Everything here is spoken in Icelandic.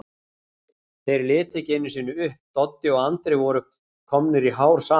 Þeir litu ekki einusinni upp, Doddi og Andri voru komnir í hár saman.